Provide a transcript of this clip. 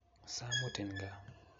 Samutin gaa